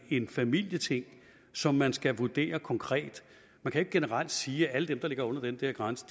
en familieting som man skal vurdere konkret man kan ikke generelt sige at alle dem der ligger under den der grænse